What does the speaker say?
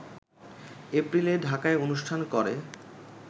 এপ্রিলে ঢাকায় অনুষ্ঠান করে